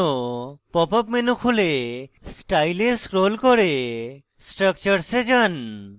pop up menu খুলে style এ scroll করে structures এ যান